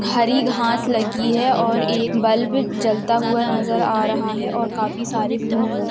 हरी घास लगी है और एक बल्ब जलता हुआ नजर आ रहा है और काफी सारे फूल नजर --